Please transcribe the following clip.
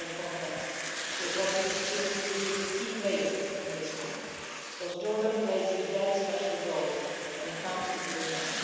We are in contact with what we consider to be a key player at this moment because Jordan plays a very special role when it comes to Jerusalem.